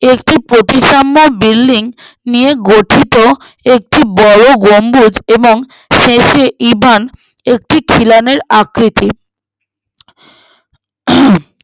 একটি পঁচিশাম্বার building নিয়ে গঠিত একটি বড়ো গম্বুজ এবং শেষে ইবান একটি খিলানের আকৃতি আহ উম